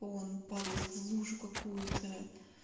он падает в лужу какую-то